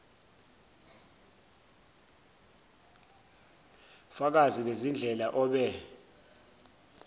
fakazi bezindleko obe